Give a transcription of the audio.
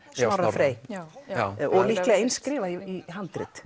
Snorra Frey já já og líklega eins skrifað í handrit